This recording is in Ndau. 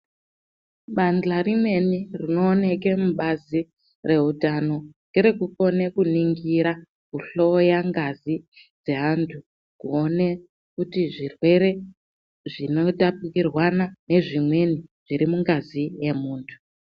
Bahla rimweni rino oneke mubazi re utano ngere kukone ku ningira ku hloya ngazi dze antu kuone kuti zvirwere zvino tapukirwana ne zvimweni zviri mungazi ye muntu.